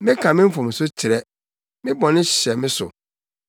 Meka me mfomso kyerɛ; me bɔne hyɛ me so.